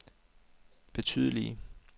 betydelige